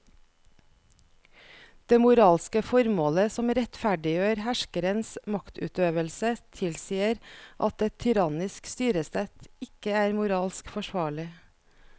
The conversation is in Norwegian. Det moralske formålet som rettferdiggjør herskerens maktutøvelse tilsier at et tyrannisk styresett ikke er moralsk forsvarlig.